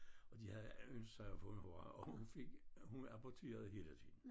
Og de havde ønsket sig at få en og hun fik hun aborterede hele tiden